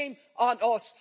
Shame on us.